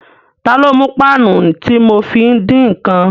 Ta ló mú páànù tí mo fi ń dín ǹkan?